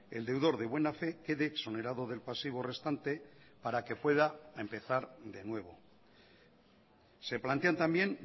el deudor de buena fe quede exonerado del pasivo restante para que pueda empezar de nuevo se plantean también